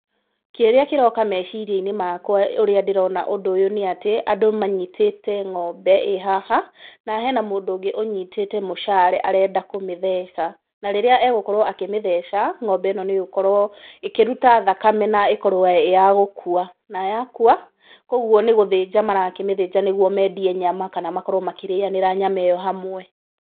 Kĩrĩa kĩroka meciria-inĩ makwa ũrĩa ndĩrona ũndũ ũyũ nĩ atĩ, andũ manyitĩte ng'ombe ĩ haha na hena mũndũ ũngũ ũnyitĩte mũcare arenda kũmĩtheca na rĩrĩa egũkorwo akĩmĩtheca, ng'ombe ĩno nĩĩgũkorwo ĩkĩruta thakame na ĩkowo ĩ ya gũkua, na yakua, kũguo nĩ gũthinja marakĩmĩthĩnja nĩ guo mendie nyama kana makorwo makĩrĩanĩra nyama ĩyo hamwe.